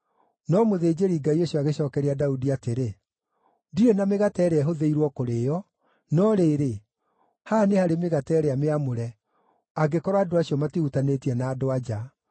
No mũthĩnjĩri-Ngai ũcio agĩcookeria Daudi atĩrĩ, “Ndirĩ na mĩgate ĩrĩa ĩhũthĩirwo kũrĩĩo, no rĩrĩ, haha nĩ harĩ mĩgate ĩrĩa mĩamũre, angĩkorwo andũ acio matihutanĩtie na andũ-a-nja.”